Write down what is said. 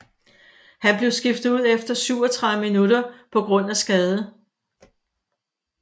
Han blev skiftet ud efter 37 minutter på grund af skade